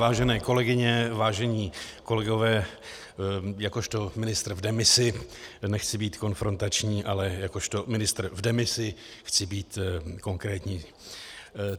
Vážené kolegyně, vážení kolegové, jakožto ministr v demisi nechci být konfrontační, ale jakožto ministr v demisi chci být konkrétní.